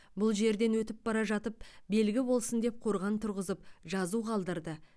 бұл жерден өтіп бара жатып белгі болсын деп қорған тұрғызып жазу қалдырды